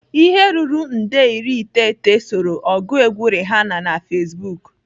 Ihe ruru nde iri iteghete soro ọgụ egwu Rihanna na Facebook.